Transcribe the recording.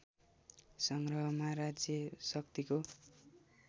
सङ्ग्रहमा राज्य शक्तिको